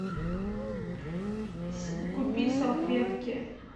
купи салфетки